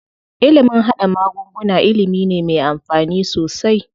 Ilimin haɗa magunguna ilimi ne me amfani sosai.